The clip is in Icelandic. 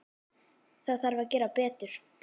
Það þarf að gera betur.